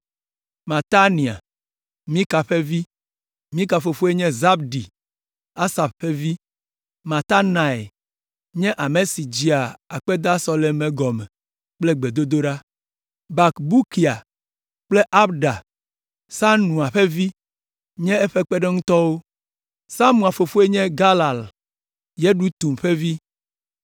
Matania, Mika ƒe vi. Mika fofoe nye Zabdi, Asaf ƒe vi. Mataniae nye ame si dzea akpedasɔlemewo gɔme kple gbedodoɖa. Bakbukia kple Abda, Sanua ƒe vi nye eƒe kpeɖeŋutɔwo. Samua fofoe nye Galal, Yedutun ƒe vi.